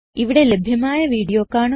ഇവിടെ ലഭ്യമായ വീഡിയോ കാണുക